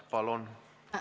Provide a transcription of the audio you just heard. Palun!